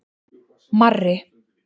Marri